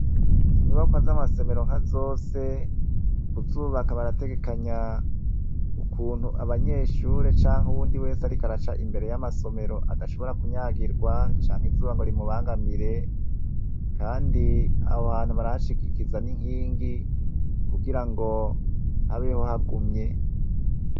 Inyubakwa zamasomero nkazose kuzubaka barategekanye ukuntu abanyeshure canke uwundi wese ariko araca imbere yamasomero adashobora kunyagirwa canke izuba rimubangamire kandi aho hantu barahashigikiza n'inkingi kugirango habeho hagumye.